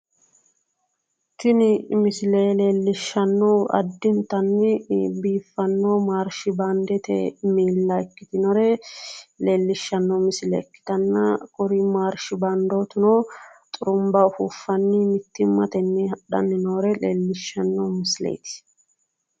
Tini misile leellishanohu addi geeshsha biiffinore marshibande ikkittanna xurumba ufuffanni hadhanni nootta leellishano misileti